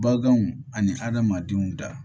Baganw ani adamadenw da